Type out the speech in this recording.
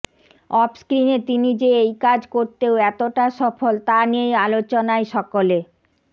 অফস্ক্রিনে তিনি যে এই কাজ করতেও এতটা সফল তা নিয়েই আলোচনায় সকলে